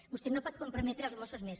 vostè no pot comprometre els mossos més